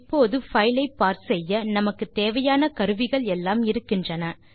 இப்போது பைல் ஐ பார்ஸ் செய்ய நம்மிடம் தேவையான கருவிகள் எல்லாம் இருக்கின்றன